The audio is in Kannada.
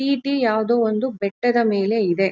ಟಿ.ಟಿ. ಯಾವುದೊ ಒಂದು ಬೆಟ್ಟದ ಮೇಲೆ ಇದೆ.